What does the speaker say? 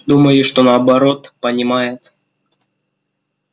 думаю что наоборот понимает